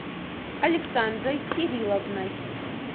александрой кирилловной